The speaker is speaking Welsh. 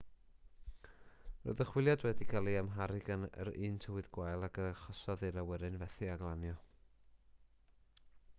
roedd y chwiliad wedi cael ei amharu gan yr un tywydd gwael ag a achosodd i'r awyren fethu â glanio